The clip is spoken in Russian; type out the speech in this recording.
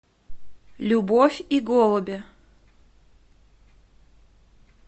любовь и голуби